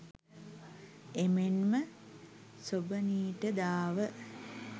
එමෙන්ම සොබනීට දාව